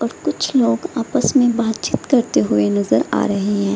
और कुछ लोग आपस में बातचीत करते हुए नजर आ रहे हैं।